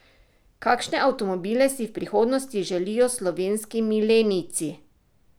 Kakšne avtomobile si v prihodnosti želijo slovenski milenijci?